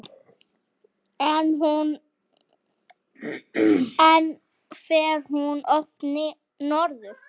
En fer hún oft norður?